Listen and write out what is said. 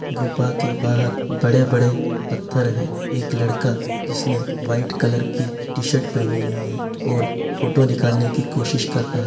गुफा के बाहर बड़े-बड़े पत्थर है| एक लड़का जिसने व्हाइट कलर की टी-शर्ट पहनी हुई है और फोटो निकालने की कोशिश कर रहा --